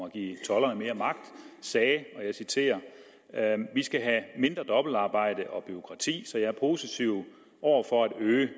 at give tolderne mere magt sagde vi skal have mindre dobbeltarbejde og bureaukrati så jeg er positiv over for at øge